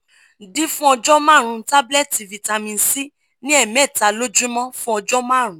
d fun ojo marun tablet vitamin c ni emeta lojumo fun ojo marun